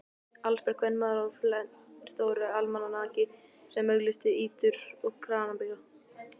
Allsber kvenmaður á flennistóru almanaki sem auglýsti ýtur og kranabíla.